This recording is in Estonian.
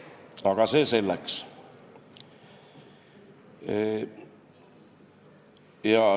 Aga see selleks.